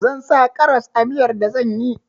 Zan sa karas a miyar da zan yi